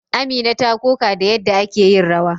Amina ta koka da yadda ake yin rawa.